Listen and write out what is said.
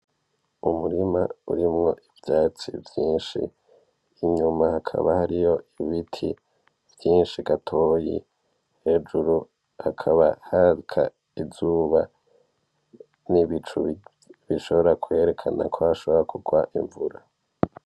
Umurima urimwo ivyatsi vyinshi inyuma hakaba hariyo ibiti vyinshi gatoyi hejuru hakaba haka izuba n'ibicu bishobora kwerekana ko hashobora kugwa imvura .